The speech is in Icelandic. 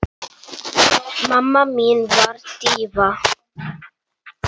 Mamma mín var díva.